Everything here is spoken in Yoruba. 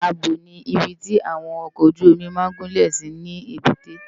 Ábò ni ibi ti áwòn òkòójùómì má n gúnlé si lébùté